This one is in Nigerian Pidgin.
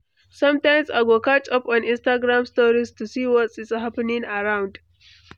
Sometimes, I go catch up on Instagram stories to see what’s happening around.